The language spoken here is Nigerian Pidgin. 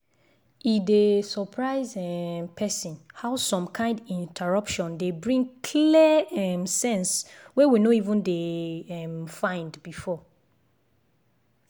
e dey surprise um person how some kind interruption dey bring clear um sense wey we no even dey um find before.